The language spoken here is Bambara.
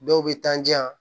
Dɔw bɛ taa di yan